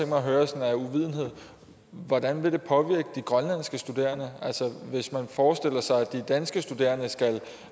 mig at høre sådan af uvidenhed hvordan vil det påvirke de grønlandske studerende altså hvis man forestiller sig at de danske studerende skal